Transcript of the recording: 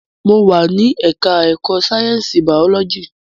Mo wà ní ẹka ẹ̀kọ́ sáyẹnsì biology.